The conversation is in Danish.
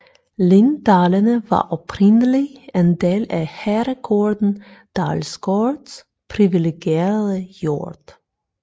Linddalene var oprindeligt en del at herregården Dalsgaards privilegerede jord